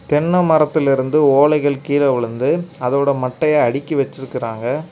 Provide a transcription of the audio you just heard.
தென்ன மரத்திலிருந்து ஓலைகள் கீழ விழுந்து அதோட மட்டைய அடுக்கி வச்சிருக்காங்க.